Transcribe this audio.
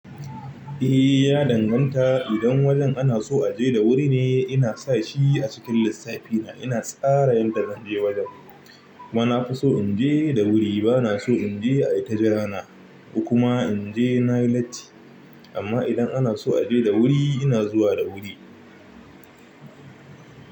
Ehhh ya danganta idan wajen ana so aje da wuri ne ina sa shi a cikin lissafi na ina tsara yadda zan je wajen. Kuma na fi so in je da wuri. Ba na so in je ai ta jirana, ko kuma in je na yi latti. Amma idan ana so a je da wuri, ina zuwa da wuri.